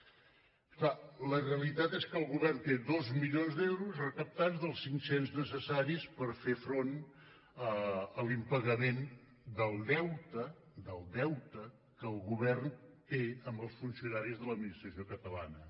és clar la realitat és que el govern té dos milions d’euros recaptats dels cinc cents necessaris per fer front a l’impagament del deute del deute que el govern té amb els funcionaris de l’administració catalana